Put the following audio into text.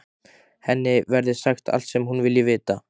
Henni verði sagt allt sem hún vilji vita.